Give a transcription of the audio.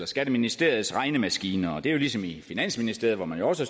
skatteministeriets regnemaskiner og det er jo ligesom det er i finansministeriet hvor man også